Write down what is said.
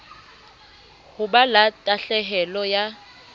ho ba la tahlehelo ya